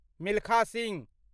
Milkha Singh